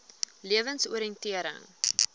lewensoriëntering